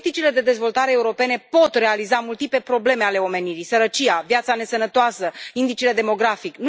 Politicile de dezvoltare europene pot realiza multiple probleme ale omenirii sărăcia, viața nesănătoasă, indicele demografic.